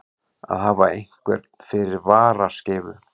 Að hafa einhvern fyrir varaskeifu